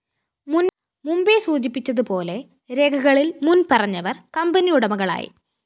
മുമ്പേ സൂചിപ്പിച്ചതുപോലെ രേഖകളില്‍ മുന്‍പറഞ്ഞവര്‍ കമ്പനിയുടമകളായി